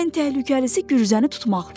Ən təhlükəlisi gürzəni tutmaqdır.